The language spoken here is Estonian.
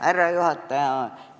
Härra juhataja!